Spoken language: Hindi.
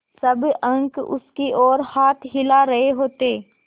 सब अंक उसकी ओर हाथ हिला रहे होते